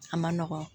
A ma nɔgɔn